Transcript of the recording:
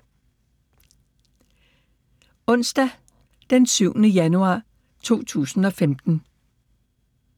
Onsdag d. 7. januar 2015